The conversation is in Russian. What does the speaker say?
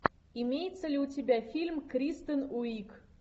имеется ли у тебя фильм кристен уиг